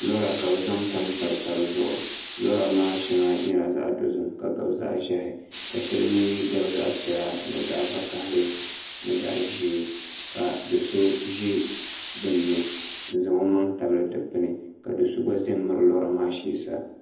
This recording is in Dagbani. teebuli lora ka bi zaŋ tamtam tabi zuɣu lora maa shɛŋa nyɛla zaɣ dozim ka gabi zaɣ ʒiɛhi ka shɛli mii gabi zaɣ piɛla ni zaɣ vakaɣali ni zaɣ ʒiɛ ka do so ʒɛ dinni n zaŋ o maŋ tabili dikpuni ka do so gba ʒɛ n miri lora maa shee sa